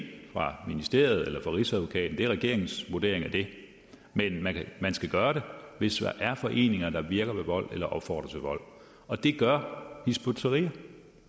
fra ministeriet eller fra rigsadvokaten det er regeringens vurdering af det men man skal gøre det hvis der er foreninger der virker ved vold eller opfordrer til vold og det gør hizb ut tahrir